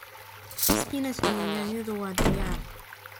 Spinach iyo yaanyada waa diyaar.